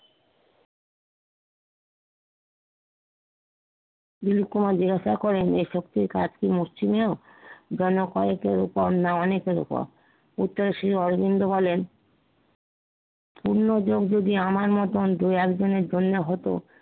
দিলিপ কুমার জিজ্ঞাসা করেন যে, এ শক্তির কাজ কি মুষ্টিমেয় জনকয়েকের ওপর না অনেকের ওপর উত্তর শ্রী অরবিন্দ বলেন পূর্ণ যোগ যদি আমার মতোন দুই একজনের জন্য হতো